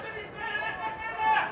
Qardaşlıq əbədidir!